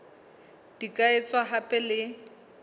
di ka etswa hape le